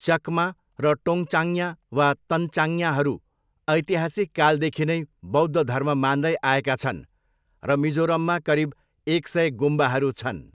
चकमा र टोङ्चाङ्या वा तन्चाङ्याहरू ऐतिहासिक कालदेखि नै बौद्ध धर्म मान्दै आएका छन् र मिजोरममा करिब एक सय गुम्बाहरू छन्।